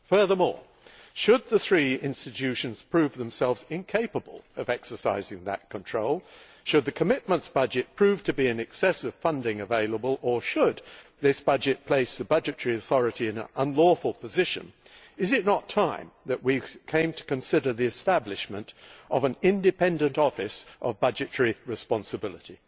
Furthermore, should the three institutions prove themselves incapable of exercising that control, should the commitments budget prove to be in excess of funding available, or should this budget place the budgetary authority in an unlawful position, is it not time that we came to consider the establishment of an independent office of budgetary responsibility?